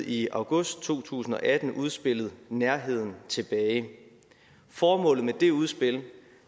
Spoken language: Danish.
i august to tusind og atten udspillet nærheden tilbage formålet med det udspil